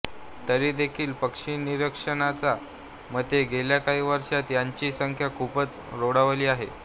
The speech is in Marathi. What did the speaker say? तरी देखील पक्षीनिरीक्षकांच्या मते गेल्या काही वर्षात याची संख्या खूपच रोडावली आहे